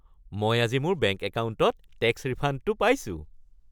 মই আজি মোৰ বেংক একাউণ্টত টেক্স ৰিফাণ্ডটো পাইছো